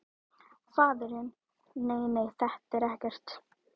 Faðirinn: Nei nei, þetta er ekkert.